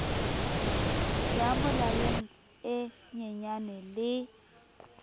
ya molaleng e nyenyane le